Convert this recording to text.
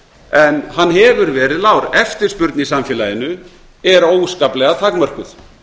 en hann hefur verið lágur eftirspurn í samfélaginu er óskaplega takmörkuð